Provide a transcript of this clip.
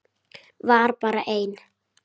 Var bara einn?